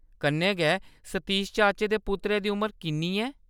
कन्नै गै सतीश चाचे दे पुत्तरै दी उमर किन्नी ऐ ?